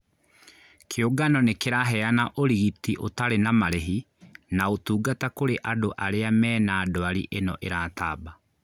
Kĩungano nĩkĩraheana ũrigiti ũtarĩ na marĩhi na ũtungata kũrĩ andũ aria mena ndwari ĩno ĩratamba